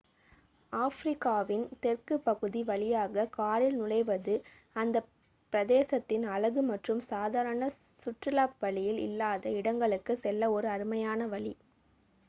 ஆப்பிரிக்காவின் தெற்குப் பகுதி வழியாக காரில் நுழைவது அந்த பிரதேசத்தின் அழகு மற்றும் சாதாரண சுற்றுலா வழியில் இல்லாத இடங்களுக்குச் செல்ல ஒரு அருமையான வழி